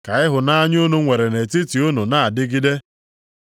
Ka ịhụnanya unu nwere nʼetiti unu na-adịgide.